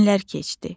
Günlər keçdi.